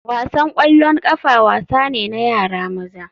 Wasan ƙwallon ƙafa wasa ne na yara maza